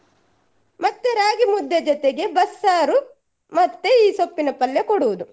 ಮತ್ತೆ ರಾಗಿ ಮುದ್ದೆ ಜೊತೆಗೆ ಬಸ್ಸಾರು ಮತ್ತೆ ಈ ಸೊಪ್ಪಿನ ಪಲ್ಯ ಕೊಡುವುದು.